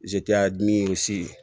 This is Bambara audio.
zeriya dimi y'o si